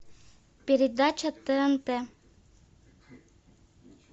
передача тнт